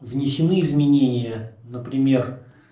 внесены изменения например